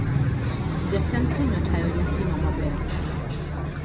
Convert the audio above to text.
Jatend piny otayo nyasi no maber